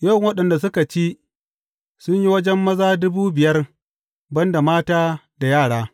Yawan waɗanda suka ci, sun yi wajen maza dubu biyar, ban da mata da yara.